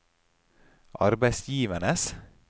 arbeidsgivernes